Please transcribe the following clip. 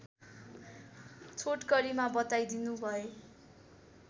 छोटकरीमा बताइदिनु भए